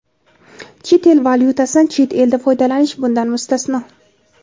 chet el valyutasidan chet elda foydalanish bundan mustasno.